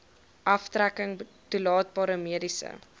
aftrekking toelaatbare mediese